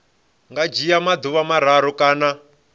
nga dzhia maḓuvha mararu kana